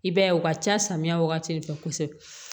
I b'a ye u ka ca samiya wagati de fɛ kosɛbɛ